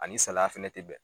Ani salaya fɛnɛ tɛ bɛn.